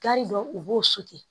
Gari dɔn u b'o